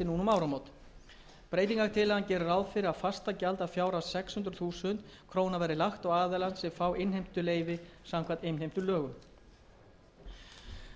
fyrir að fastagjald að fjárhæð sex hundruð þúsund krónur verði lagt á aðila sem fá innheimtuleyfi samkvæmt innheimtulögum